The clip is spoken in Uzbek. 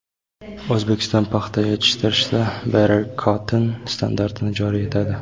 O‘zbekiston paxta yetishtirishda Better Cotton standartini joriy etadi.